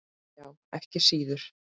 Já, ekki síður.